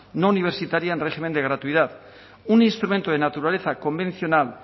no universitaria en régimen de gratuidad un instrumento de naturaleza convencional